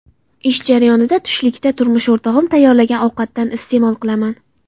Ish jarayonida tushlikda turmush o‘rtog‘im tayyorlagan ovqatdan iste’mol qilaman.